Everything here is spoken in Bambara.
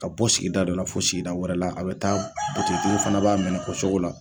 Ka bɔ sigida dɔ la fo sigida wɛrɛ la, a bɛ taa butigitigiw fɛnɛ b'a minɛ o cogo la.